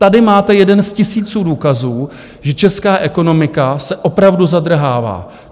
Tady máte jeden z tisíců důkazů, že česká ekonomika se opravdu zadrhává.